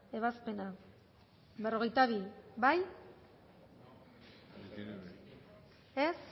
ebazpena berrogeita bi bozkatu dezakegu